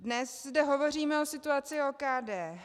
Dnes zde hovoříme o situaci OKD.